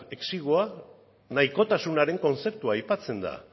exiguoa nahikotasunaren kontzeptua aipatzen da